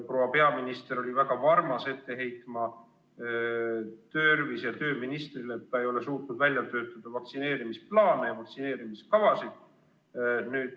Proua peaminister oli väga varmas ette heitma tervise- ja tööministrile, et ta ei ole suutnud välja töötada vaktsineerimisplaane, vaktsineerimiskavasid.